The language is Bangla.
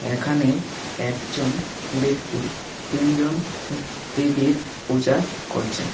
এখানে একজন ব্যক্তি তিনজন দেবীর পূজা করছেন।